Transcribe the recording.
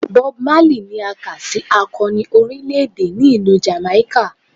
Bob Marley ni a ka si akọni orilẹ-ede ni Ilu Jamaica.